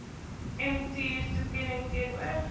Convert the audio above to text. mtur toekenning teenoor